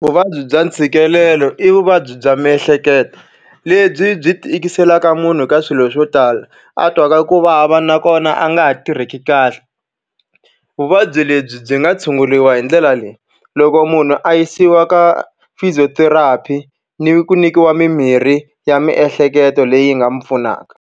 Vuvabyi bya ntshikelelo i vuvabyi bya miehleketo, lebyi byi tikiselaka munhu ka swilo swo tala. A twaka ku vava nakona a nga ha tirheki kahle. Vuvabyi lebyi byi nga tshunguriwa hi ndlela leyi. Loko munhu a yisiwa ka physiotherapy ni ku nyikiwa mimirhi ya miehleketo leyi nga n'wi pfunaka.